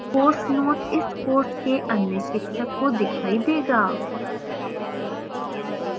course note इस course के अन्य शिक्षक को दिखाई देगा